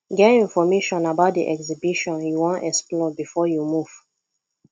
get information about di exhibition you won explore before you move